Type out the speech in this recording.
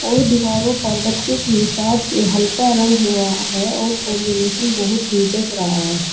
दो दीवारों पर बच्चों के हिसाब से हल्का रंग हुआ है और कॉम्बिनेशन बहोत ही जच रहा है।